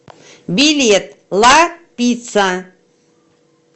билет ла пицца